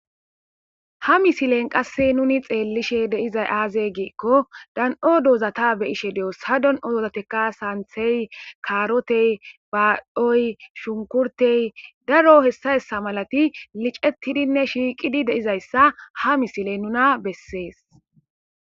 Ha misilen qasse nuni xeellishe deizay aazey giikko dan'o doozata be ishe de'os ha don'o doozateka saanthey kaarotey baadhoy shunkurtey daro hessa hessa malati licettidinne shiiqidi deizayssa ha misiley nuna bessees